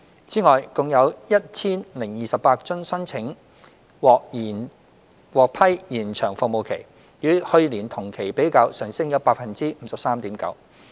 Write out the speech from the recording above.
此外，共有 1,028 宗申請獲批延長服務期，與去年同期比較，上升 53.9%。